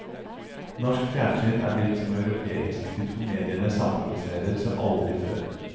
Norsk fjernsyn er blitt som europeisk, de to mediene samproduserer som aldri før.